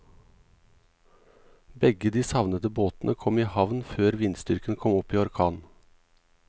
Begge de savnede båtene kom i havn før vindstyrken kom opp i orkan.